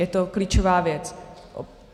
Je to klíčová věc.